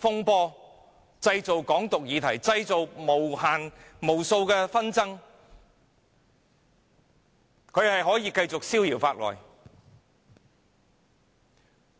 風波，又製造"港獨"議題和無數紛爭，卻可以繼續逍遙法外。